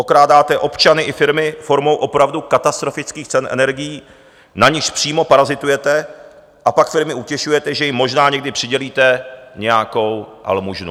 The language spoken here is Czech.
Okrádáte občany i firmy formou opravdu katastrofických cen energií, na nichž přímo parazitujete a pak firmy utěšujete, že jim možná někdy přidělíte nějakou almužnu.